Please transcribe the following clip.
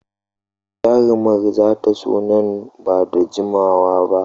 Jarumar za ta zo nan ba da jimawa ba.